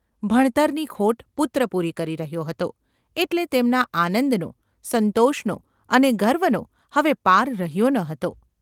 ભણતરની ખોટ પુત્ર પૂરી રહ્યો હતો એટલે તેમના આનંદનો, સંતોષનો અને ગર્વનો હવે પાર રહ્યો ન હતો.